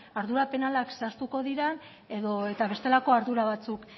ardura penalak zehaztuko diren edota bestelako ardura batzuk